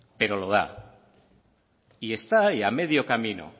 pero lo da y esta ahí a medio camino